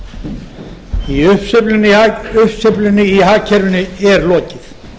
hæstvirtur forseti uppsveiflunni í hagkerfinu er lokið mikill